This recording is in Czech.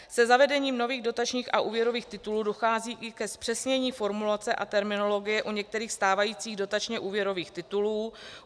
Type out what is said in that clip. Se zavedením nových dotačních a úvěrových titulů dochází i ke zpřesnění formulace a terminologie u některých stávajících dotačně-úvěrových titulů.